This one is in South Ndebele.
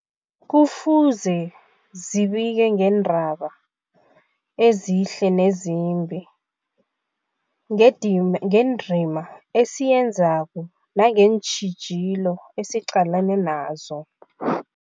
Kufuze zibike ngeendaba ezihle nezimbi, ngedim ngendima esiyenzako nangeentjhijilo esiqalene nazo.